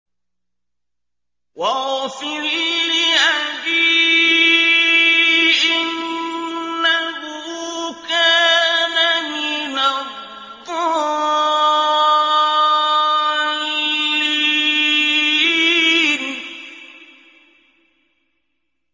وَاغْفِرْ لِأَبِي إِنَّهُ كَانَ مِنَ الضَّالِّينَ